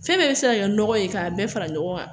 Fɛn bɛɛ bɛ se ka kɛ nɔgɔ ye k'a bɛɛ fara ɲɔgɔn kan